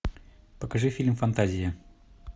покажи фильм фантазия